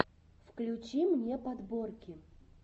включи мне подборки